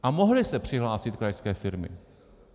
A mohly se přihlásit krajské firmy.